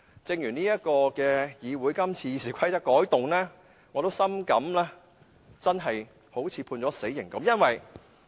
正如議會今次修改《議事規則》，我也深感猶如被判死刑。